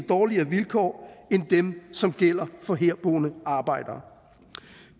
dårligere vilkår end dem som gælder for herboende arbejdere